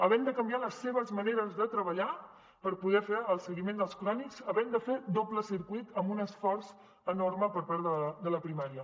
havent de canviar les seves maneres de treballar per poder fer el seguiment dels crònics havent de fer doble circuit amb un esforç enorme per part de la primària